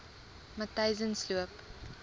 matyzensloop